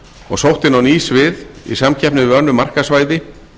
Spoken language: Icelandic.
og sótt inn á ný svið í samkeppni við önnur markaðssvæði